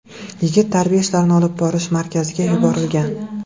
Yigit tarbiya ishlarini olib borish markaziga yuborilgan.